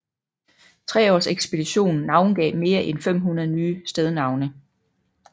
Treaarsekspeditionen navngav mere end 500 nye stednavne